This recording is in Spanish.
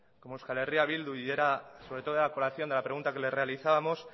como euskal herria bildu y era sobre todo a colación de la pregunta que le realizábamos